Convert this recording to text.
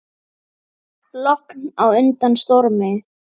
Logn á undan stormi.